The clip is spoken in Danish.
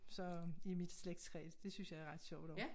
Så i mit slægtstræ det synes jeg er ret sjovt også